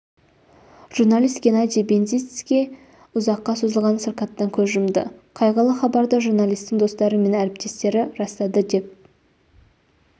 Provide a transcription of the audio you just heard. журналист геннадий бендицкий ұзаққа созылған сырқаттан көз жұмды қайғылы хабарды журналистің достары мен әріптестері растады деп